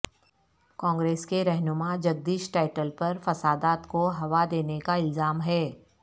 کانگریس کے رہنما جگدیش ٹائٹلر پر فسادات کو ہوا دینے کا الزام ہے